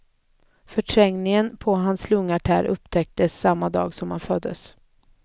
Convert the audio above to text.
Förträngningen på hans lungartär upptäcktes samma dag han föddes.